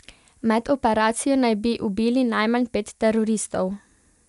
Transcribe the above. Med operacijo naj bi ubili najmanj pet teroristov.